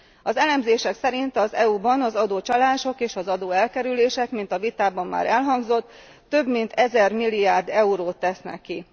Az elemzések szerint az EU ban az adócsalások és az adóelkerülések, mint a vitában már elhangzott, több mint 1000 milliárd eurót tesznek ki.